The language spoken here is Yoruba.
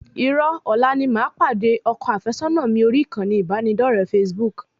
Irọ́, ọ̀la ni màá pàdé ọkọ àfẹ́sọ́nà mi orí ìkànnì ìbánidọre facebook